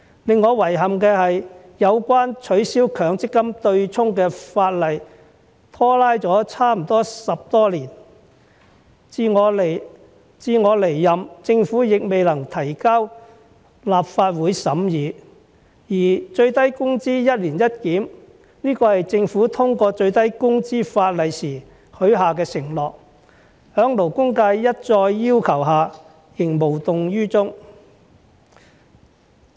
令我遺憾的是有關取消強積金對沖的法例拖拉了差不多10多年，至我離任，政府亦未能提交立法會審議，而最低工資"一年一檢"，是政府通過最低工資法例時許下的承諾，在勞工界一再要求下仍無動於衷。